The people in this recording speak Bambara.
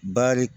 Bari